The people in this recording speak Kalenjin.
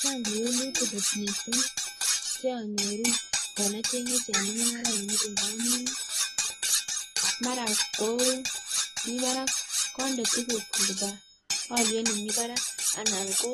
Chang' kewelutik kot missing cheonyoru yon ocheng'e chemung'araik ngamun mara ko mi barak, konde tugukyuk koba olyet nemi barak anan ko